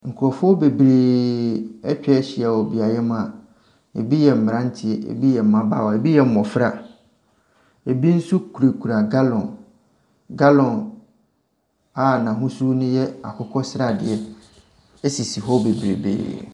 Nkurɔfoɔ bebree atwa ahyia wɔ beaeɛ mu a bi yɛ mmeranteɛ, bi yɛ mmabaawa, bi yɛ mmɔfra, bi nso kurakura gallon. Gallon a n’ahosuo no yɛ akokɔsradeɛ sisi hɔ bebrebee.